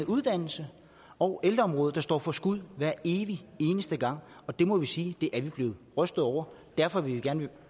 uddannelse og ældreområdet der står for skud hver evig eneste gang og det må vi sige vi er blevet rystet over derfor vil vi gerne